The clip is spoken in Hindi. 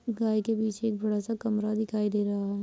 गाय के पीछे एक बड़ा सा कमरा दिखाई दे रहा है।